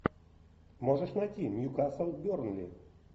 можешь найти ньюкасл бернли